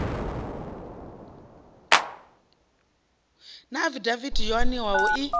na afidaviti yo aniwaho i